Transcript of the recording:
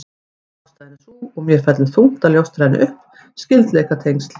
Ástæðan er sú, og mér fellur þungt að ljóstra henni upp: Skyldleikatengsl